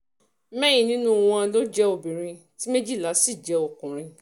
mẹ́rin nínú wọn um ló jẹ́ obìnrin tí méjìlá sì jẹ́ um ọkùnrin